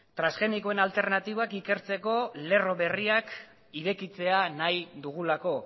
transgenikoen alternatibak ikertzeko lerro berriak irekitzea nahi dugulako